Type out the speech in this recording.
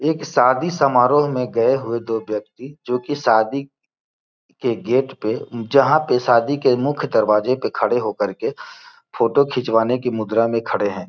एक शादी समारोह मैं गए हुए दो व्यक्ति जोकि शादी के गेट पे जहाँ पे शादी के मुख्य दरवाजे पर खड़े होकर के फोटो खिंचवाने की मुद्रा में खड़े हैं।